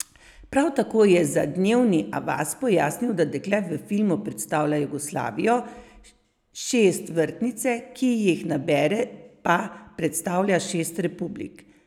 Prav tako je za Dnevni Avaz pojasnil, da dekle v filmu predstavlja Jugoslavijo , šest vrtnice, ki jih nabere pa predstavlja šest republik.